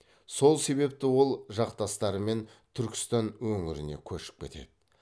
сол себепті ол жақтастарымен түркістан өңіріне көшіп кетеді